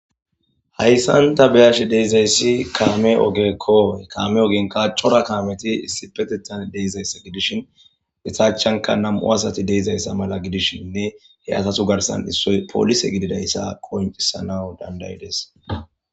hayssanta beyashe deezayssi kaame ogekko kaame oginka cora kaameti issipeteta deezaysse gidishin itachanka nam7u asati deezayssa mala gidishinne he asatu garsan issoy polise gididayssa qoncisanawu dandayides